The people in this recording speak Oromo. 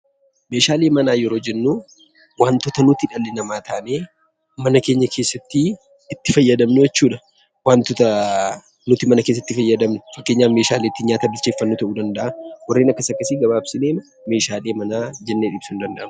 Meeshaalee mana kessaa yeroo jennuu wantoota nuti dhalli namaa taanee mana keenya keessatti itti fayyadamnuu jechuu dha. Wantoota nuti mana keessatti fayyadamnu fakkeenyaaf meeshaalee ittiin nyaata bilcheeffannu ta'uu danda'a. Warreen akkas akkasii gabaabsinee meeshaalee manaa jenna.